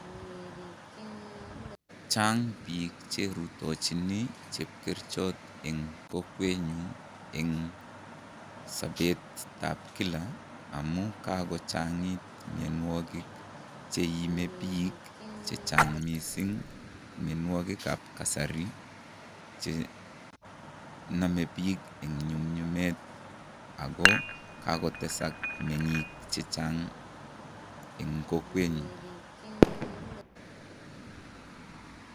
Chang bik cherutochin cheokeruchot eng kokwenyon eng sbetab Kila, amun kakochangit mnyanwakik cheimebik bik chechang mising, mnyanwakikab kasari che name bik eng nyumnyumet ako kakotesak menging chechang eng kokwenyun.